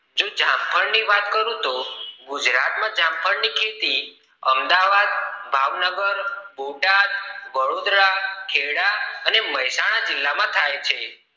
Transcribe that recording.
જો જામફળ ની વાત કરું તો ગુજરાત માં જામફળ ની ખેતી અમદાવાદ ભાવનગર બોટાદ વડોદરા ખેડા અને મેહસાણા જિલ્લા માં થાય છે